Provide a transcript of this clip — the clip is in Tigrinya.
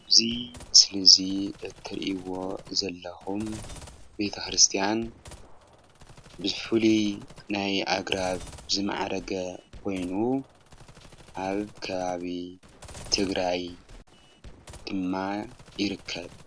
እዙይ ምስሊ እዚ እትሪእዎ ዘለኩም ቤተ-ክርስትያን ብፍሉይ ናይ ኣግራብ ዝማዕረገ ኮይኑ ኣብ ከበቢ ትግራይ ድማ ይርከብ ፡፡